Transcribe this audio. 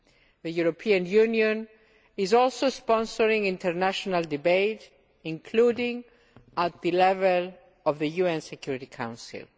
The European Union is also sponsoring international debate including at the level of the UN Security Council.